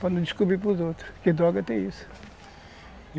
para não descobrir para outros, que droga tem isso.